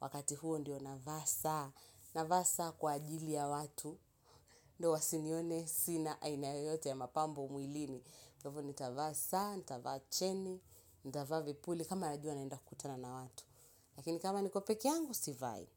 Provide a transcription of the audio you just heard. wakati huo ndio na vaa saa. Na vaa saa kwa ajili ya watu. Ndo wasinione sina aina yoyote ya mapambo mwilini kwa hivyo nitavaa saa nitavaa cheni nitavaa vipuli. Kama najua naenda kutana na watu. Lakini kama niko peke yangu sivai.